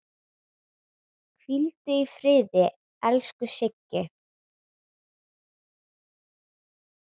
Hvíldu í friði, elsku Siggi.